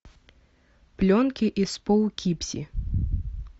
пленки из поукипзи